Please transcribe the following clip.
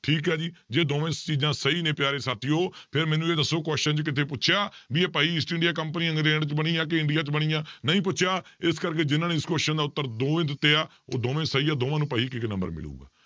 ਠੀਕ ਹੈ ਜੀ ਜੇ ਦੋਵਾਂ ਚੀਜ਼ਾਂ ਸਹੀ ਨੇ ਪਿਆਰੇ ਸਾਥੀਓ ਫਿਰ ਮੈਨੂੰ ਇਹ ਦੱਸੋ question 'ਚ ਕਿਤੇ ਪੁਛਿਆ ਵੀ ਇਹ ਭਾਈ ਈਸਟ ਇੰਡੀਆ company ਇੰਗਲੈਂਡ 'ਚ ਬਣੀ ਇੰਡੀਆ 'ਚ ਬਣੀ ਆ, ਨਹੀਂ ਪੁੱਛਿਆ ਇਸ ਕਰਕੇ ਜਿਹਨਾਂ ਨੇ ਇਸ question ਦਾ ਉੱਤਰ ਦੋਵੇਂ ਦਿੱਤੇ ਆ ਉਹ ਦੋਵੇਂ ਸਹੀ ਆ ਦੋਵਾਂ ਨੂੰ ਭਾਈ ਇੱਕ ਇੱਕ number ਮਿਲੇਗਾ।